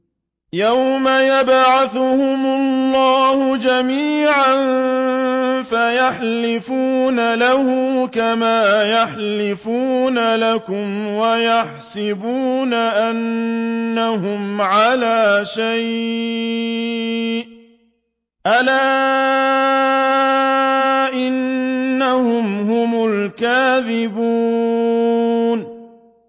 يَوْمَ يَبْعَثُهُمُ اللَّهُ جَمِيعًا فَيَحْلِفُونَ لَهُ كَمَا يَحْلِفُونَ لَكُمْ ۖ وَيَحْسَبُونَ أَنَّهُمْ عَلَىٰ شَيْءٍ ۚ أَلَا إِنَّهُمْ هُمُ الْكَاذِبُونَ